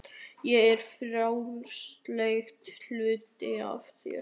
Ég er frjálslyndari hlutinn af þér.